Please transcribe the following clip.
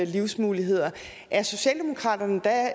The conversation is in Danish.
livsmuligheder er socialdemokratiet da